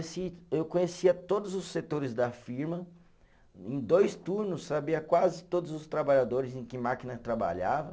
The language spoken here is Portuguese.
Eu conhecia todos os setores da firma, em dois turno sabia quase todos os trabalhadores em que máquina trabalhava.